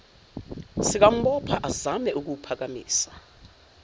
sikambopha azame ukuwuphakamisa